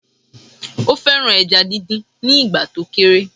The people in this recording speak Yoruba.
Ó fẹ́ràn ẹja díndín nígbà tó kéré